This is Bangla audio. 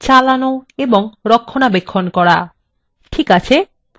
ঠিক আছে প্রথম ধাপে যাওয়া যাক